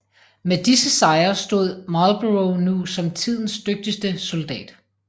Med disse sejre stod Marlborough nu som tidens dygtigste soldat